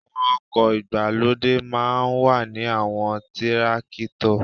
Àwọn oko ìgbàlódé máa ń ní àwọn tírákítọ̀